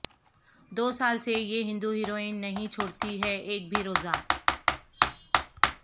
دو سال سے یہ ہندو ہیروئن نہیں چھوڑتی ہے ایک بھی روزہ